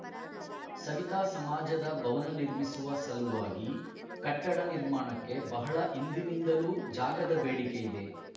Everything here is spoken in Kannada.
ಸವಿತಾ ಸಮಾಜದ ಭವನ ನಿರ್ಮಿಸುವ ಸಲುವಾಗಿ ಕಟ್ಟಡ ನಿರ್ಮಾಣಕ್ಕೆ ಬಹಳ ಹಿಂದಿನಿಂದಲೂ ಜಾಗದ ಬೇಡಿಕೆಯಿದೆ